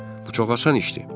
Bu çox asan işdir.